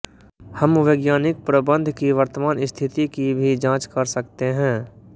हम वैज्ञानिक प्रबंध की वर्तमान स्थिति की भी जाँच कर सकते हैं